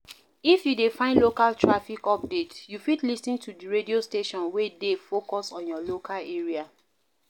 If you dey find local traffic update you fit lis ten to di radio station wey dey focus on your local area